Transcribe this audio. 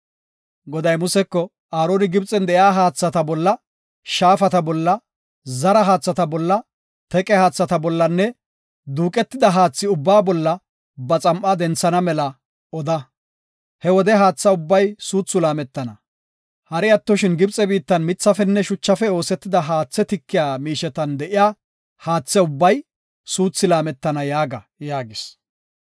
Goday Museko, “Aaroni Gibxen de7iya haathata bolla, shaafata bolla, zara haathata bolla, teqe haatha bollanne duuqetida haathi ubbaa bolla ba xam7aa denthana mela oda. He wode haatha ubbay suuthi laametana. Hari attoshin Gibxe biittan mithafenne shuchafe oosetida haathe tikiya miishetan de7iya haathay ubbay suuthi laametana yaaga” yaagis.